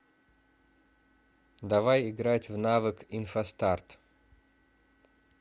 давай играть в навык инфостарт